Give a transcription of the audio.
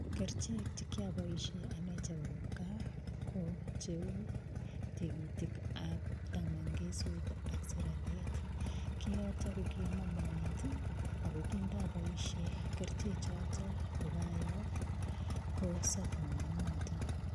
Kerchek chekiaboishe ane chebo kipgaa kou tigitiab tamangeswet ak siraryet. Kiyotok ko kiamo moet ako kindaboishe kerchechotok kokoyoo, kosop moonotok.